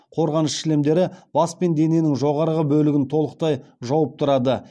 қорғаныш шлемдері бас пен дененің жоғары бөлігін толықтай жауып тұрады